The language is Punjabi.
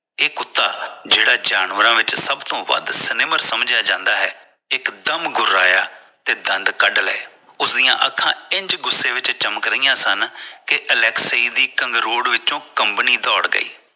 ਇਹ ਕੁੱਤਾ ਜਿਹੜਾ ਜਾਨਵਰਾਂ ਵਿੱਚੋ ਸਬ ਤੋਂ ਵੱਧ ਜਿਸਨੂੰ ਸਮਝਿਆ ਜਾਂਦਾ ਇਕਦਮ ਗੁਰਾਇਆ ਤੇ ਦੰਦ ਕੱਢ ਲਏ ਉਸਦੀ ਅੱਖਾਂ ਇੰਜ ਗੁੱਸੇ ਵਿੱਚ ਚਮਕ ਰਹੀਆਂ ਸਨ ਕਿ ਅਲੈਕਸੀ ਦੀ ਇਕ ਅੰਗਰੋਡ ਵਿੱਚੋ ਕੰਬਣੀ ਦੌਰ ਗਈ